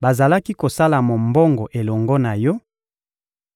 bazalaki kosala mombongo elongo na yo;